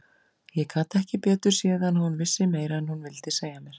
Ég gat ekki betur séð en að hún vissi meira en hún vildi segja mér.